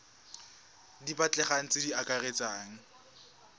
di batlegang tse di akaretsang